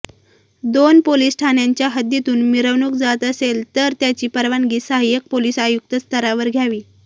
दोन पोलीस ठाण्यांच्या हद्दीतून मिरवणूक जात असेल तर त्याची परवानगी सहाय्यक पोलीस आयुक्त स्तरावर घ्यावी